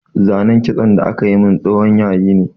Zanen kitson da aka yi min tsohon yayi ne